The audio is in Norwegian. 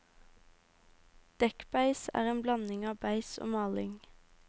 Dekkbeis er en blanding av beis og maling.